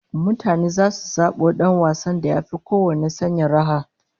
Mutane zasu zabo dan wasan da yafi kowanne sanya raha